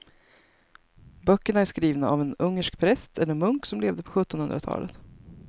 Böckerna är skrivna av en ungersk präst eller munk som levde på sjuttonhundratalet.